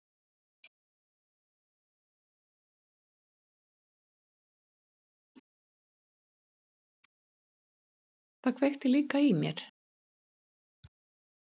Það kveikti líka í mér.